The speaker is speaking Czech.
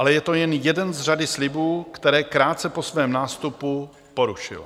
Ale je to jen jeden z řady slibů, které krátce po svém nástupu porušil.